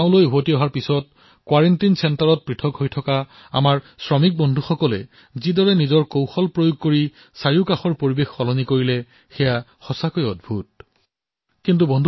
গাঁৱলৈ অহাৰ পিছত কোৱাৰেণ্টিনত থাকি আইচলেচন কেন্দ্ৰত থাকি আমাৰ শ্ৰমিক বন্ধুসকলে যিদৰে নিজৰ প্ৰতিভাৰ জৰিয়তে নিকটৱৰ্তী স্থিতিৰ পৰিৱৰ্তন কৰিছে সেয়া অতিশয় উল্লেখনীয়